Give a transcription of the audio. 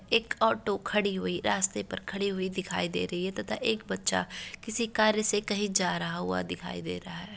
एक ऑटो खड़ी हुई रास्ते पर खड़ी हुई दिखाई दे रही है तथा एक बच्चा किसी कार्य से कहीं जा रहा हुआ दिखाई दे रहा है।